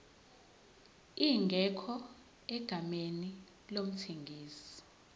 ingekho egameni lomthengisi